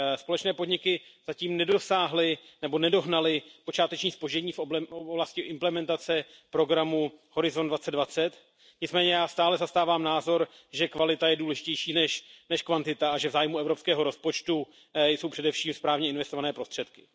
Společné podniky zatím nedosáhly nebo nedohnaly počáteční zpoždění v oblasti implementace programu Horizont 2020, nicméně já stále zastávám názor, že kvalita je důležitější než kvantita a že v zájmu evropského rozpočtu jsou především správně investované prostředky.